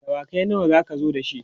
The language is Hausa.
dawakai nawa zaka zo da shi?